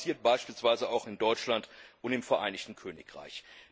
Das passiert beispielsweise auch in Deutschland und im Vereinigten Königreich.